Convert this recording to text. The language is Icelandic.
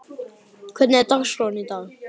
Baddi, hvernig er dagskráin í dag?